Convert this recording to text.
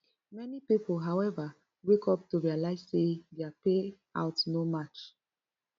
many pipo howeva wake up to realize say dia payout no match